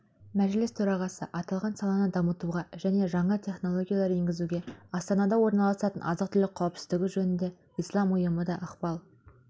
мәжіліс төрағасы аталған саланы дамытуға және жаңа технологиялар енгізуге астанада орналасатын азық-түлік қауіпсіздігі жөніндегі ислам ұйымы да ықпал